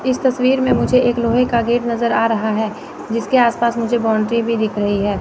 इस तस्वीर में मुझे एक लोहे का गेट नजर आ रहा है जिसके आस पास मुझे बाउंड्री भी दिख रही है।